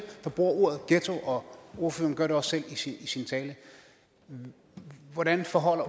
der bruger ordet ghetto og ordføreren gør det også selv i sin tale hvordan forholder